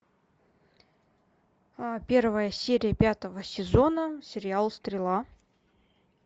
первая серия пятого сезона сериал стрела